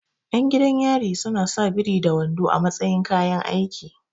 Ƴan gidan yari suna sa biri da wando a matsayin kayan aiki